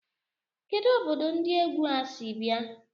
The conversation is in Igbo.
Kedụ obodo ndi égwu a sị bịa?